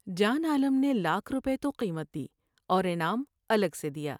جان عالم نے لاکھ روپے تو قیمت دی اور انعام الگ سے دیا ۔